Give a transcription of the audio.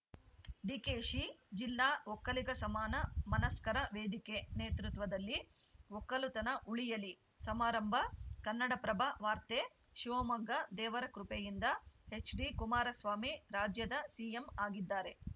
ಡಿಕೆಶಿ ಜಿಲ್ಲಾ ಒಕ್ಕಲಿಗ ಸಮಾನ ಮನಸ್ಕರ ವೇದಿಕೆ ನೇತೃತ್ವದಲ್ಲಿ ಒಕ್ಕಲುತನ ಉಳಿಯಲಿ ಸಮಾರಂಭ ಕನ್ನಡಪ್ರಭ ವಾರ್ತೆ ಶಿವಮೊಗ್ಗ ದೇವರ ಕೃಪೆಯಿಂದ ಎಚ್‌ಡಿ ಕುಮಾರಸ್ವಾಮಿ ರಾಜ್ಯದ ಸಿಎಂ ಆಗಿದ್ದಾರೆ